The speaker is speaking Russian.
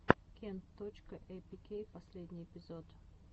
кент точка эйпикей последний эпизод